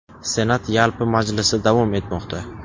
Senat yalpi majlisi davom etmoqda.